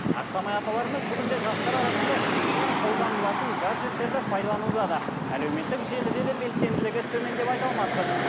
ақсамай апаларымыз бүгінде жастар арасында кеңінен қолданылатын гаджеттерді пайдалануда да әлеуметтік желіде де белсенділігі төмен деп айта алмаспыз